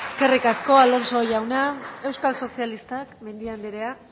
eskerrik asko alonso jauna euskal sozialistak mendia anderea